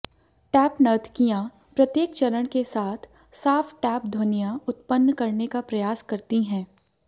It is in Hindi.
टैप नर्तकियां प्रत्येक चरण के साथ साफ टैप ध्वनियां उत्पन्न करने का प्रयास करती हैं